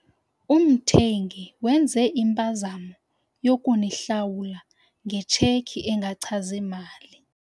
Umthengi wenze impazamo yokunihlawula ngetsheki engachazi mali.